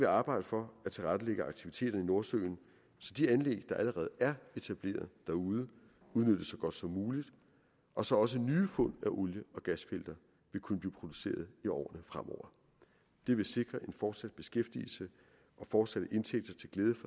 arbejde for at tilrettelægge aktiviteterne i nordsøen så de anlæg der allerede er etableret derude udnyttes så godt som muligt og så også nye fund af olie og gasfelter vil kunne blive produceret i årene fremover det vil sikre en fortsat beskæftigelse og fortsatte indtægter til glæde